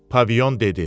Paviyon dedi: